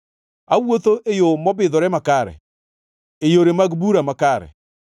Awuotho e yo mobidhore makare, e yore mag bura makare,